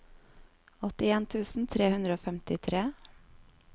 åttien tusen tre hundre og femtitre